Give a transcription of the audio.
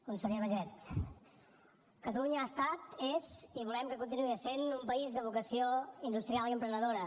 conseller baiget catalunya ha estat és i volem que continuï sent un país de vocació industrial i emprenedora